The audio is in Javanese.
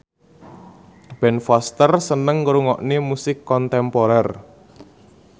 Ben Foster seneng ngrungokne musik kontemporer